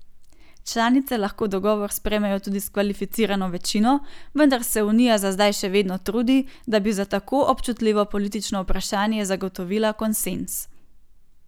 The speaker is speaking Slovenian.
Članice lahko dogovor sprejmejo tudi s kvalificirano večino, vendar se unija za zdaj še vedno trudi, da bi za tako občutljivo politično vprašanje zagotovila konsenz.